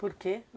Por quê?